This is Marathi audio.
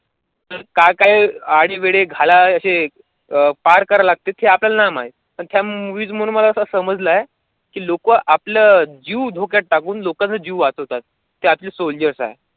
का काय आढेमेढे घालय हे पार करायला लागते हे आपल्याला नाही माहित पण त्या movies मधून असं मला समजलंय कि लोकं आपला जीव धोक्यात टाकून लोकांचा जीव वाचवतात ते आपले soldiers आहेत.